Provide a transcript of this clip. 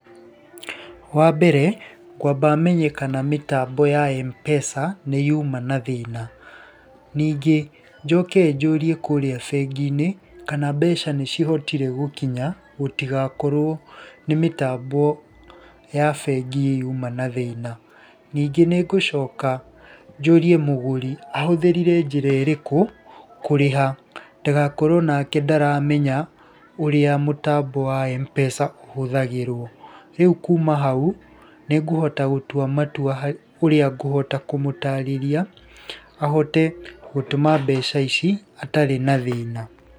Wa mbere, ngwamba menye kana mĩtambo ya Mpesa nĩ yuma na thĩna. Ningĩ njoke njũrie kũria bengi-inĩ kana mbeca nĩ cihotire gũkinya gutigakorwo nĩ mĩtambo ya bengi yuma na thĩna. Ningĩ nĩ ngũcoka njũrie mũgũri ahũthĩrire njĩra ĩrĩkũ kũrĩha, ndagakorwo onake ndaramenya ũrĩa mũtambo wa Mpesa ũhũthagĩrwo. Rĩu kuma hau nĩ ngũhota gũtua matua ũrĩa ngũhota kũmũtarĩria ahote gũtũma mbeca ici atarĩ na thĩna.